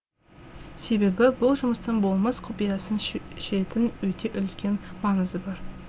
себебі бұл жұмыстың болмыс құпиясын шешетін өте үлкен маңызы бар